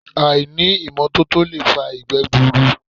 Àìní ìmọ́tótó lè fa ìgbẹ́ gbùrùùrù